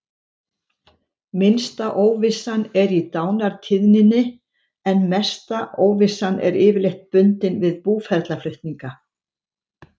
Minnsta óvissan er í dánartíðninni en mesta óvissan er yfirleitt bundin við búferlaflutninga.